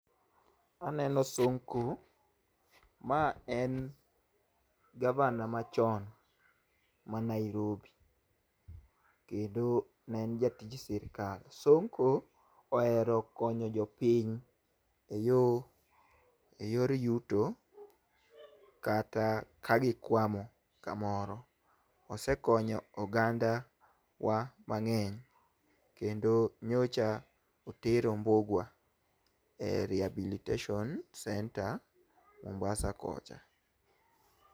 Aneno Sonko. Ma en gavana machon ma Nairobi. Kendo ne en jatij sirkal. Sonko ohero konyo jopiny e yor yuto, kata ka gikwamo kamoro. Osekonyo ogandawa mang'eny kendo nyocha otero Mbugua, e rehabilitation center Mombasa kocha.